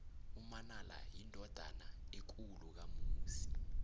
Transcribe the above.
umanala yindodana ekulu kamusi